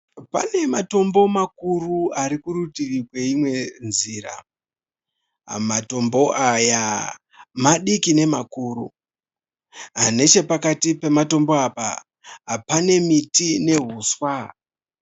Pane matombo makuru ari kurutivi kweimwe nzira. Matombo aya madiki nemakuru. Nechepakati pematombo apa pane miti nehuswa.